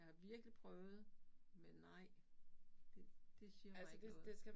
Jeg har virkelig prøvet men nej det det siger mig ikke noget